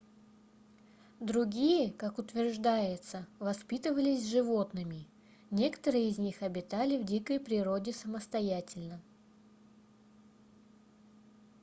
другие как утверждается воспитывались животными некоторые из них обитали в дикой природе самостоятельно